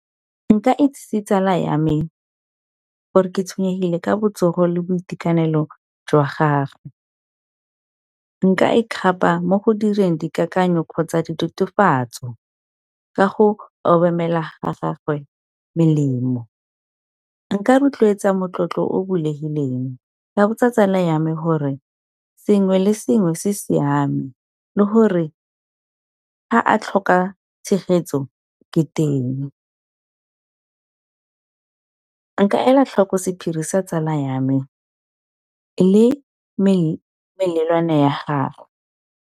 Nka itsisi tsala ya me gore ke tshwenyegile ka botsogo le boitekanelo jwa gage, nka e kgapa mo go direng dikakanyo kgotsa ditatofatso ka go obamela ga gagwe melemo. Nka rotloetsa motlotlo o bulegileng ka botsa tsala yame gore sengwe le sengwe se siame, le gore a a tlhoka tshegetso ke teng, nka ela tlhoko sephiri sa tsala ya me le melelwane ya gagwe.